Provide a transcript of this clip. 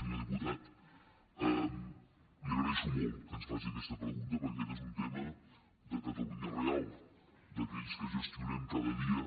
senyor diputat li agraeixo molt que ens faci aquesta pregunta perquè aquest és un tema de catalunya real d’a quells que gestionem cada dia